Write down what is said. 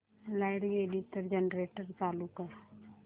light गेली तर generator चालू कर